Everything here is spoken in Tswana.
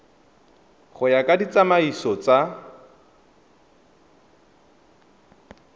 go ya ka ditsamaiso tsa